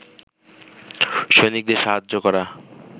সৈনিকদের সাহায্য করা